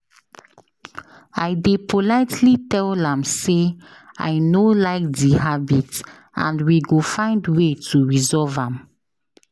I dey politely tell am say i no like di habit, and we go find way to resolve am.